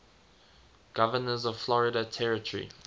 governors of florida territory